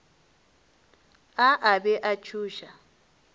a a be a tšhoša